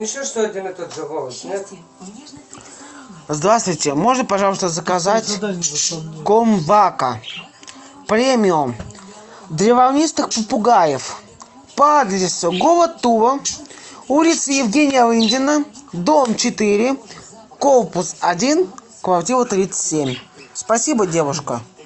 здравствуйте можно пожалуйста заказать корм вака премиум для волнистых попугаев по адресу город тула улица евгения рындина дом четыре корпус один квартира тридцать семь спасибо девушка